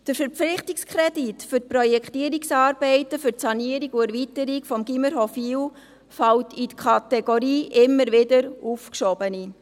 Der Verpflichtungskredit für die Projektierungsarbeiten zur Sanierung und Erweiterung des Gymnasiums Hofwil fällt in die Kategorie «immer wieder aufgeschoben».